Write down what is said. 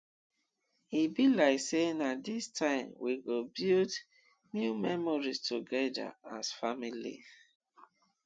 e be like sey na dis time we go build new memories togeda as family